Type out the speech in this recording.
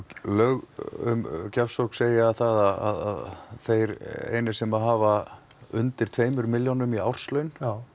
lög um gjafsókn segja að þeir einir sem hafa undir tveimur milljónum í árslaun